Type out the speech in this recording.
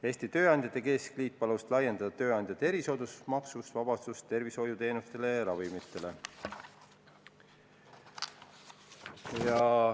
Eesti Tööandjate Keskliit palus laiendada tööandja erisoodustusmaksust vabastamist tervishoiuteenustele ja ravimitele.